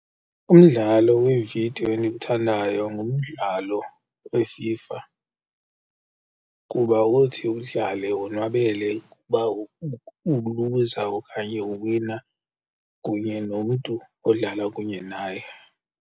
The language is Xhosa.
Umdlalo weevidiyo endiwuthandayo ngumdlalo weFIFA kuba uthi udlale wonwabele ukuba uluza okanye uwina kunye nomntu odlala kunye naye.